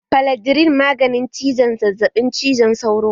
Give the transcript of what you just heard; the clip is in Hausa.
Faladrin maganin ciwon zazzaɓin cizon sauro ne